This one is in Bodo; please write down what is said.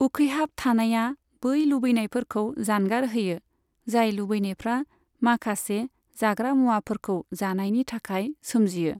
उखैहाब थानाया बै लुबैनायफोरखौ जानगार होयो, जाय लुबैनायफ्रा माखासे जाग्रा मुवाफोरखौ जानायनि थाखाय सोमजियो।